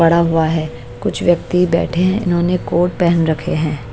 बड़ा हुआ है कुछ व्यक्ति बैठे हैं इन्होंने कोर्ट पहन रखे हैं।